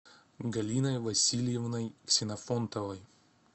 галиной васильевной ксенофонтовой